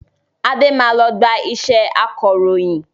Adé máa lọ gba iṣẹ́ akọròyìn